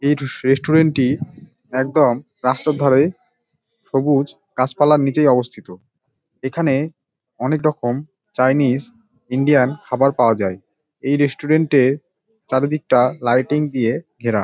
এটা টুস রেস্টুরেন্ট - টি একদম রাস্তার ধারে সবুজ গাছপালার নিচেই অবস্থিত। এখানে অনেক রকম চাইনিস ইন্ডিয়ান খাবার পাওয়া যায়। এই রেস্টুরেন্ট -এ চারিদিকটা লাইটিং দিয়ে ঘেরা |